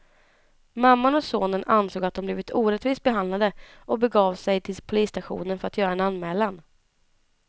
Mamman och sonen ansåg att de blivit orättvist behandlade och begav de sig till polisstationen för att göra en anmälan.